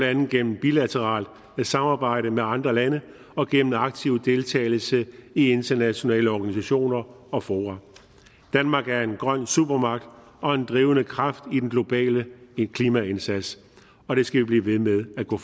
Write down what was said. andet gennem bilateralt samarbejde med andre lande og gennem aktiv deltagelse i internationale organisationer og fora danmark er en grøn supermagt og en drivende kraft i den globale klimaindsats og vi skal blive ved med at gå